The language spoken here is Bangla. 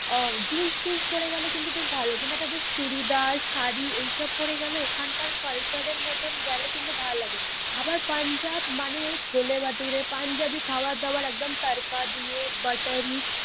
আহ জিন্স ফিন্স পরে গেলে কিন্তু বেশ ভালো লাগে, কিন্তু একটা বেশ চুড়িদার শাড়ি এইসব পরে গেলে ওখানকার culture এর মতন গেলে কিন্তু ভালো লাগে। আবার পাঞ্জাব মানেই হচ্ছে ছোলে ভাটুরে, পাঞ্জাবি খাবার দাবার একদম তারকা দিয়ে বাটারী